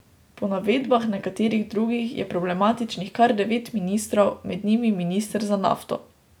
Po navedbah nekaterih drugih je problematičnih kar devet ministrov, med njimi minister za nafto.